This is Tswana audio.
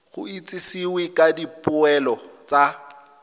go itsisiwe ka dipoelo tsa